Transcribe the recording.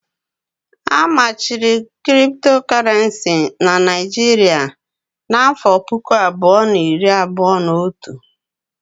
A machiri Kriptokorenci n'Naijiria n'afọ puku abụọ na iri abụọ n'otu